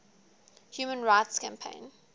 human rights campaign